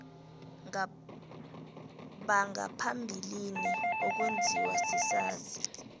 bangaphambilini okwenziwa sisazi